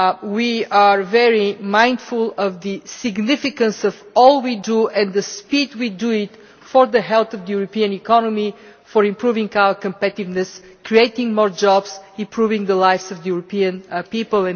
We are very mindful of the significance of all we do and the speed at which we do it for the health of the European economy, improving our competitiveness, creating more jobs, and improving the lives of the European people.